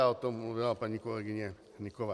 Ale o tom mluvila paní kolegyně Hnyková.